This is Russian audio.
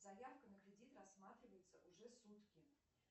заявка на кредит рассматривается уже сутки